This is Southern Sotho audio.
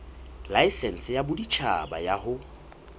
laesense ya boditjhaba ya ho